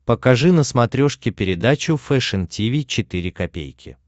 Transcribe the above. покажи на смотрешке передачу фэшн ти ви четыре ка